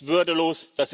Das ist würdelos.